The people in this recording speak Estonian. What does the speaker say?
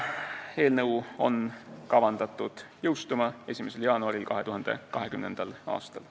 Eelnõu on kavandatud jõustuma 1. jaanuaril 2020. aastal.